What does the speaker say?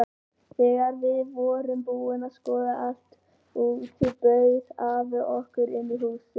Þegar við vorum búin að skoða allt úti bauð afi okkur inn í húsið sitt.